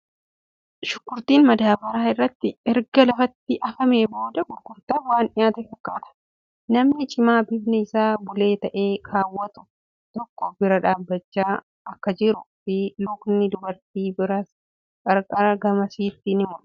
Shunkurtiin madaabaraa irratti erga lafatti afamee booda gurgurtaaf waan dhiyyaate fakkaata. Namni caamaa bifni isaa bulee ta'e kaawwatu tokko bira dhaabbachaa akkajiruu fii lukni dubartii biras qarqara gamasitti ni mul'ata.